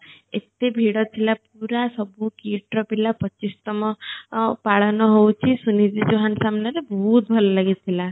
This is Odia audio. ଏତେ ଭିଡ଼ ଥିଲା ପୁରା ସବୁ KIIT ର ପିଲା ପଚିଶତମ ଅ ପାଳନ ହୋଉଚି ସୁନିଧି ଚୌହାନ୍ ସାମ୍ନା ରେ ବହୁତ ଭଲ ଲାଗି ଥିଲା